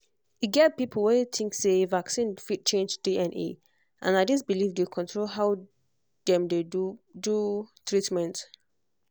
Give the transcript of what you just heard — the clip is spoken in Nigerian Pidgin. e get people wey dey think say vaccine fit change dna and na this belief dey control how dem dey do do treatment